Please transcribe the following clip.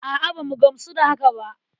A'a, ba mu gamsu ba da haka ba.